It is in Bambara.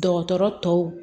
Dɔgɔtɔrɔ tɔw